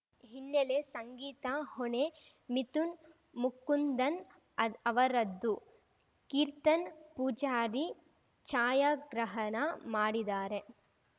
ಹಿನ್ನೆಲೆ ಸಂಗೀತ ಹೊಣೆ ಮಿಥುನ್‌ ಮುಕುಂದನ್‌ ಅವರದ್ದು ಕೀರ್ತನ್‌ ಪೂಜಾರಿ ಛಾಯಾಗ್ರಹಣ ಮಾಡಿದ್ದಾರೆ